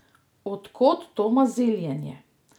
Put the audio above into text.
Odkod to maziljenje?